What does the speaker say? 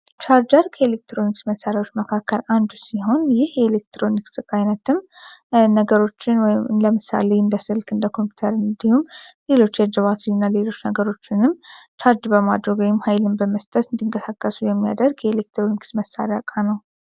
ቻርጀር ከኤሌክትሮኒክስ መሳሪያዎች አንዱ ሲሆን ማለትም እንደ ስልክ እንደ ኮምፒውተር እና ሌሎችንም ቻርጅ በማድረግ ሀይል በመስጠት የሚያደርግ የኤሌክትሮኒክስ መሳሪያ ዕቃ ነው።